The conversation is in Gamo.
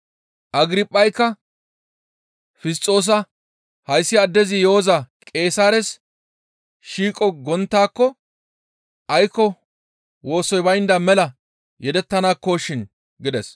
Agirphayka Fisxoosa, «Hayssi addezi yo7oza Qeesaares shiiqo gonttaako aykko wosoy baynda mela yedettanaakko shin» gides.